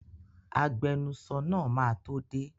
Agbenusọ náà máa tó dé.